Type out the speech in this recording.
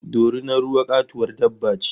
Dorinar ruwa katuwar dabba ce